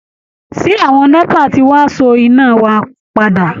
Ṣé àwọn NEPA ti wá so iná wa padà?